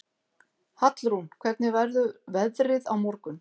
Hallrún, hvernig verður veðrið á morgun?